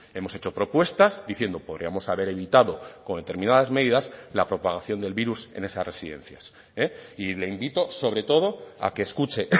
hemos hecho propuestas diciendo podríamos haber evitado con determinadas medidas la propagación del virus en esas residencias y le invito sobre todo a que escuche